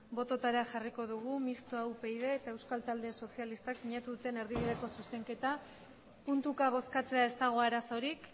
botoetara jarriko dugu mistoa upyd eta euskal talde sozialistak sinatu duten erdibideko zuzenketa puntuka bozkatzea ez dago arazorik